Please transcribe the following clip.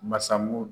Masamu